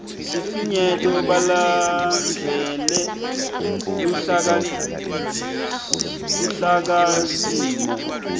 sifinyeto balandzele luhlakasimo